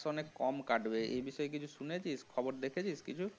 মানে কম কাটবে এই বিষয়ে কিছু শুনেছিস খবর দেখেছিস কিছু?